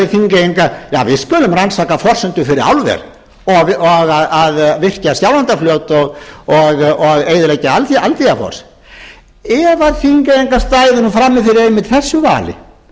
þingeyinga við skulum rannsaka forsendur fyrir álver og að virkja skjálfandafljót og eyðileggja aldeyjarfoss ef að þingeyingar stæðu nú frammi fyrir einmitt þessu vali